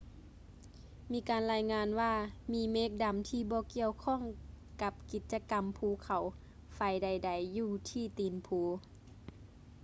ມີການລາຍງານວ່າ ມີເມກດຳທີ່ບໍ່ກ່ຽວຂ້ອງກັບກິດຈະກໍາພູເຂົາໄຟໃດໆ ຢູ່ທີ່ຕີນພູ